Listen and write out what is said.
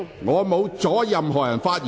我沒有阻止任何議員發言。